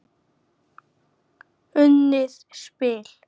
Unnið spil.